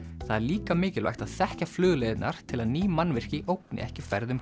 það er líka mikilvægt að þekkja flugleiðirnar til að ný mannvirki ógni ekki ferðum